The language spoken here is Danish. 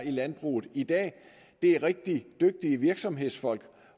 i landbruget i dag er rigtig dygtige virksomhedsfolk